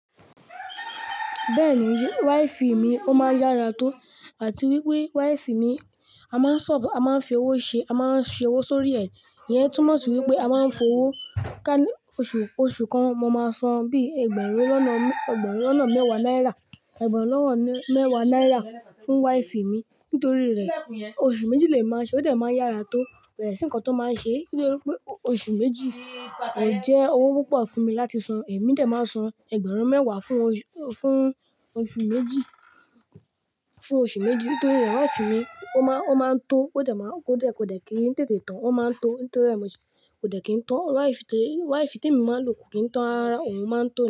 Bẹ́ẹ̀ni, wifi mi ó máa ń yára tó àti wípé wifi mi a máa ń sub, a máa ń fi owó ṣe, a máa ń ṣe owó sórí ẹ̀. Iyẹn túmọ̀ sí wípé a máa ń fi owó ká ní oṣù, oṣù kan mo máa san bí ẹgbẹ̀rún lọ́nà, ẹgbẹ̀rún lọ́nà mẹ́wàá náírà, ẹgbẹ̀rún lọ́wọ́ mẹ́wàá náírà fún wifi mi nítorí rẹ̀ oṣù méjì lè máa ṣe ó dẹ̀ máa yára tó bẹ̀rẹ̀ sí nǹkan tó máa ń ṣe nítorí pé oṣù méjì kò jẹ́ owó púpọ̀ fún mi láti san. Èmi dà máa san ẹgbẹ̀rún mẹ́wàá fún oṣù, fún oṣù méjì, fún oṣù méjì nítorí re wifi mi ó máa ń tó ó dẹ̀ máa ń, ó dẹ̀ kí n tètè tán ó máa ń tó nítorí rẹ̀ mo kò dẹ̀ kín tán wifi, torí wifi tí emi máa ń lò kò kín tán rárá òun máa ń tó.